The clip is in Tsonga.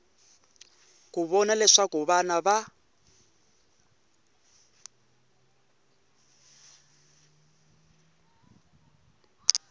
ku vona leswaku vana va